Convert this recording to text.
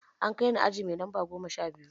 An kai ni aji mai lamba goma sha biyu.